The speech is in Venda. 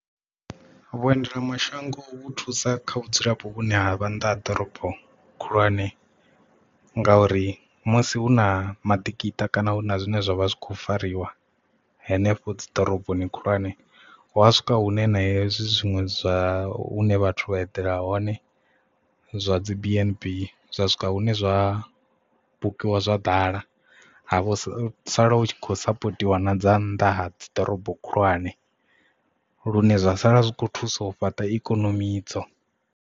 Vhuendelamashango vhu thusa kha vhudzulapo vhune ha vha nnḓa ha ḓorobo khulwane ngauri musi hu na maḓikiṱa kana hu na zwine zwavha zwi kho fariwa hanefho dzi ḓoroboni khulwane hua swika hune na hezwi zwiṅwe zwa hune vhathu vha eḓela hone zwa dzi BNB zwa swika hune zwa bukiwa zwa ḓala ha vho sala u tshi khou sapotiwa na dza nnḓa ha dzi ḓorobo khulwane lune zwa sala zwi kho thusa u fhaṱa ikonomi idzo.